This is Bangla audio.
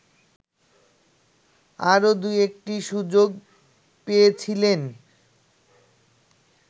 আরো দু-একটি সুযোগ পেয়েছিলেন